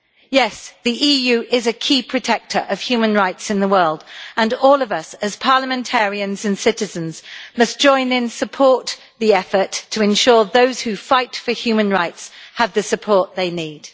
Yes, the EU is a key protector of human rights in the world, and all of us, as parliamentarians and citizens, must join in support of the effort to ensure those who fight for human rights have the support they need.